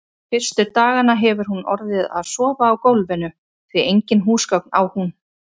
Fyrstu dagana hefur hún orðið að sofa á gólfinu, því engin húsgögn á hún.